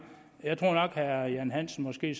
i